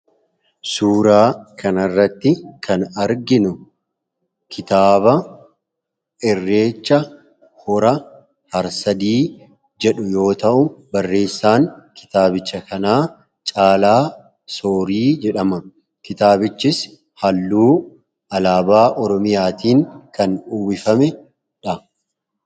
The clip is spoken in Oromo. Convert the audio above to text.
Suuraa kanarratti kan arginu kitaaba irreecha hora harsadi jedhu yoo ta'u barreessaan kitaabicha kanaa caalaa soorii jedhama. kitaabichis halluu alaabaa oromiyaatiin kan uwwifameedha.